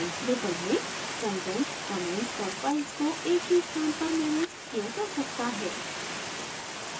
drupal में content comments और files को एक ही स्थान पर मैनेज किया जा सकता है